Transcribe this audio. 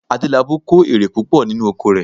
Adélabú kó èrè púpọ̀ nínú oko rẹ̀